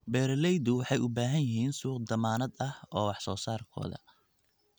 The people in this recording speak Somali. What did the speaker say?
Beeraleydu waxay u baahan yihiin suuq dammaanad ah oo wax soo saarkooda.